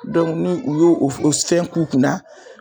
ni u y'o o f o fɛn k'u kun na